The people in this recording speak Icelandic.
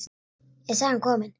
Er sagan komin?